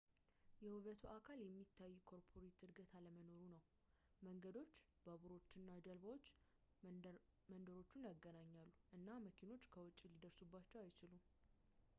የውበቱ አካል የሚታይ ኮርፖሬት እድገት አለመኖሩ ነው መንገዶች ባቡሮች እና ጀልባዎች መንደሮቹን ያገናኛሉ እና መኪኖች ከውጪ ሊደርሱባቸው አይችሉም